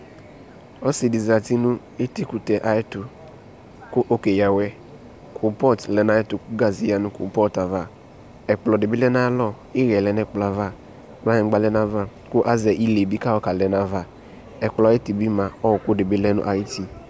Ɔse zati no etikutɛ ayɛto ko ɔke yia awɛ Kropɔt lɛ na ayɛto ko gaze yia no kropɔtava Ɛkplɔ de be lɛ nayalɔɔ Eyɛ lɛɛ no ɛkplɔava klanyingba lɛ na a ko azɛ ile be kayɔ ka lɛ na aƐkplɔ ayiyi be mia ɔku de be lɛ no ayiti